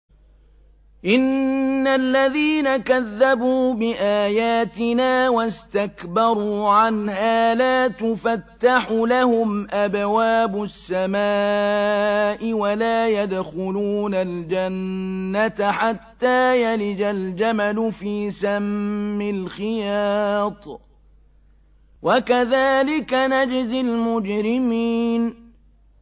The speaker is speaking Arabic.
إِنَّ الَّذِينَ كَذَّبُوا بِآيَاتِنَا وَاسْتَكْبَرُوا عَنْهَا لَا تُفَتَّحُ لَهُمْ أَبْوَابُ السَّمَاءِ وَلَا يَدْخُلُونَ الْجَنَّةَ حَتَّىٰ يَلِجَ الْجَمَلُ فِي سَمِّ الْخِيَاطِ ۚ وَكَذَٰلِكَ نَجْزِي الْمُجْرِمِينَ